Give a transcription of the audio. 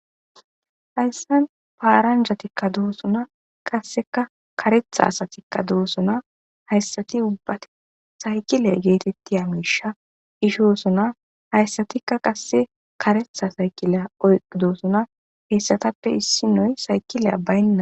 Hayssan paaranjatikka doosuna qasseka karetha asatikka doosuna hayssati ubbati saykile geetetti hamisha ishoosona hayssatikka qasse karetha saykileya oyqidoosuna hessatappe issi noy sayqileya baynna.